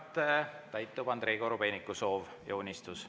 Järgnevalt täitub Andrei Korobeiniku soov ja unistus.